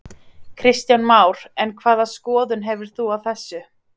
Kristján Már: En hvaða skoðun hefur þú á þessu?